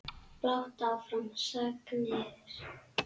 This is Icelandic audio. Blátt áfram sagnir.